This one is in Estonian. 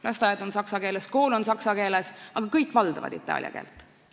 Lasteaed on saksa keeles, kool on saksa keeles, aga kõik valdavad itaalia keelt.